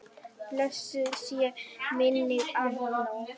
Blessuð sé minning Arnórs.